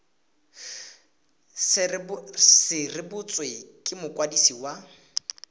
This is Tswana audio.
se rebotswe ke mokwadisi wa